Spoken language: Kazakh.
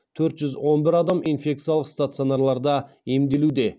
төрт жүз он бір адам инфекциялық стационарларда емделуде